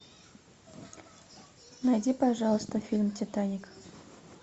найди пожалуйста фильм титаник